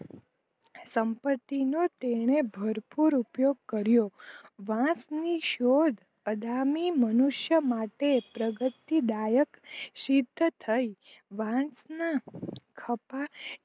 સંપતિનો તેને ભરપૂર ઉપયોગ કર્યો વાસની શોધ અદામી મનુષ્યો માટે પ્રગતિદાયક શિર્થ થઈ વાસના